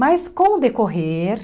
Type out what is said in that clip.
Mas, com o decorrer...